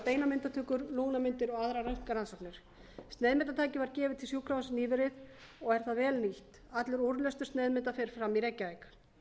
almenna beinamyndatökur lungnamyndir og áðan röntgenrannsóknir sneiðmyndatæki var gefið til sjúkrahússins nýverið og er það vel nýtt allur úrlestur sneiðmynda fer fram í reykjavík